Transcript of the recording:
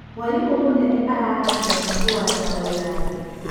Mwarimũ mũnene arahandire mahũa nja wa irathi.